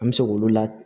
An bɛ se k'olu la